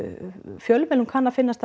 fjölmiðlum kann að finnast það